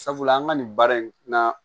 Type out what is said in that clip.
Sabula an ka nin baara in na